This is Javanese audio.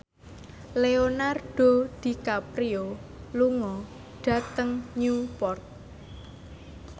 Leonardo DiCaprio lunga dhateng Newport